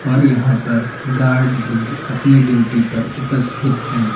और यहां पर गार्ड भी अपनी ड्यूटी पर उपस्थित हैं।